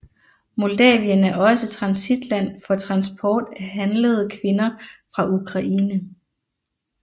Moldavien er også transitland for transport af handlede kvinder fra Ukraine